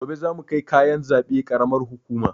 Gobe zamu kai kayan zaɓe karamar hukuma